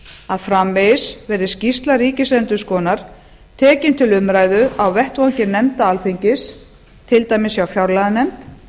að framvegis verði skýrsla ríkisendurskoðunar tekin til umræðu á vettvangi nefnda alþingis til dæmis hjá fjárlaganefnd